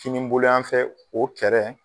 Kininbolo yanfɛ o kɛrɛ